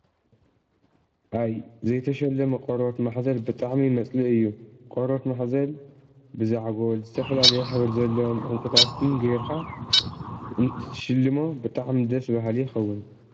አይ! ዘይተሸለመ ቆርበት ማሕዘል ብጣዕሚ መፅልኢ እዩ፡፡ ቆርበት ማሕዘል ብዛዕጎል፣ ዝተፈላለየ ሕብሪ ዘለዎም ዕንቍታትን ገይርካ እትትሽልሞ ብጣዕሚ ደስ በሃሊ ይኸውን፡፡